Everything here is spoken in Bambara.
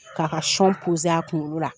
Ka ka a kunkolo la.